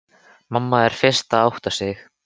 Mamma er fyrst að átta sig: